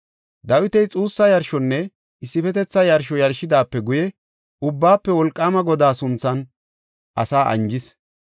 Dawiti xuussa yarshonne issifetetha yarsho yarshidaape guye Ubbaafe Wolqaama Godaa sunthan asaa anjis.